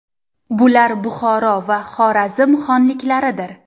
Bular Buxoro va Xorazm xonliklaridir.